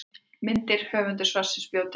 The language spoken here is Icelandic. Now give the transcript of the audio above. Myndir: Höfundur svarsins bjó til myndirnar.